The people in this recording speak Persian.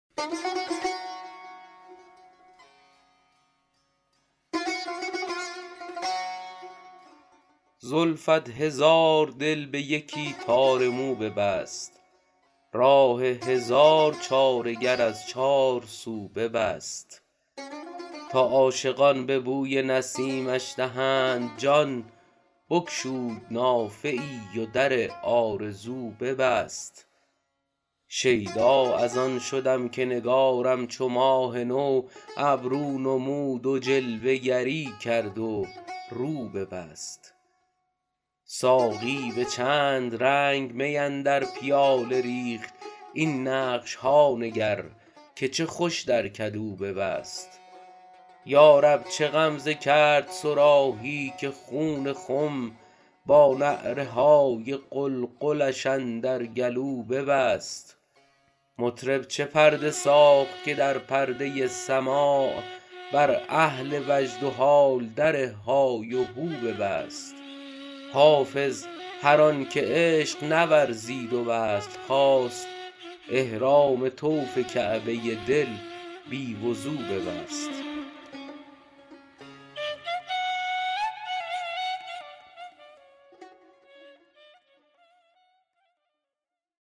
زلفت هزار دل به یکی تار مو ببست راه هزار چاره گر از چارسو ببست تا عاشقان به بوی نسیمش دهند جان بگشود نافه ای و در آرزو ببست شیدا از آن شدم که نگارم چو ماه نو ابرو نمود و جلوه گری کرد و رو ببست ساقی به چند رنگ می اندر پیاله ریخت این نقش ها نگر که چه خوش در کدو ببست یا رب چه غمزه کرد صراحی که خون خم با نعره های قلقلش اندر گلو ببست مطرب چه پرده ساخت که در پرده سماع بر اهل وجد و حال در های وهو ببست حافظ هر آن که عشق نورزید و وصل خواست احرام طوف کعبه دل بی وضو ببست